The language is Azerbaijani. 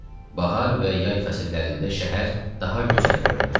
Bahar və yay fəsillərində şəhər daha gözəl görünürdü.